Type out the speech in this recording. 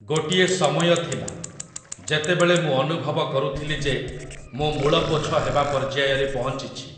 ଗୋଟିଏ ସମୟ ଥିଲା, ଯେତେବେଳେ ମୁଁ ଅନୁଭବ କରୁଥିଲି ଯେ ମୁଁ ମୂଳପୋଛ ହେବା ପର୍ଯ୍ୟାୟରେ ପହଞ୍ଚିଛି ।